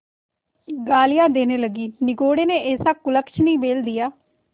गालियाँ देने लगीनिगोडे़ ने ऐसा कुलच्छनी बैल दिया